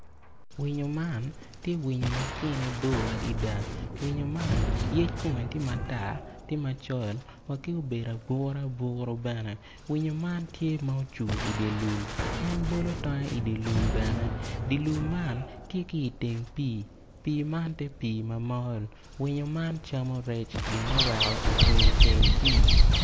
Winyo man tye winyo ma tyene bo adada winyo man yec kome tye matar tye macol wa ki obedo aburu aburu bene winyo man tye ma cung idye lum en bolo tonge idye lum bene dye lum man tye ki teng pii, pii man tye pii ma mol winyo man camo rec ene oweko ocung iteng pii